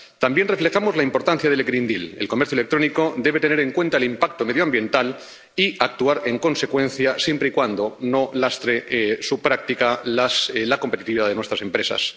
También reflejamos la importancia del Pacto Verde el comercio electrónico debe tener en cuenta el impacto medioambiental y actuar en consecuencia, siempre y cuando su práctica no lastre la competitividad de nuestras empresas.